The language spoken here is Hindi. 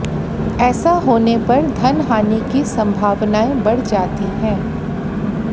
ऐसा होने पर धन हानि की संभावनाएं बढ़ जाती हैं